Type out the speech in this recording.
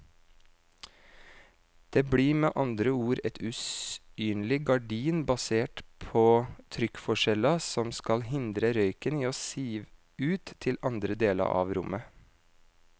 Det blir med andre ord et usynlig gardin basert på trykkforskjeller som skal hindre røyken i å sive ut til andre deler av rommet.